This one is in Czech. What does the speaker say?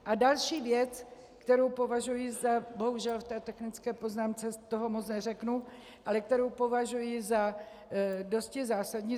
A další věc, kterou považuji za - bohužel v té technické poznámce toho moc neřeknu - ale kterou považuji za dosti zásadní.